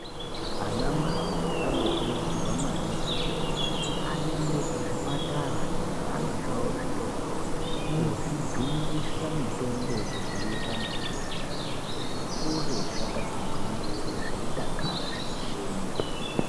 Ana mai anokurudzirwa maningi kuti ayende ku zvipatara ne zvana zvavo zvidodori ko zvijungisa mitombo yeku dzivirira matenda kuti zvikure zvakati ngwindiri zveidakara zveyi shenya.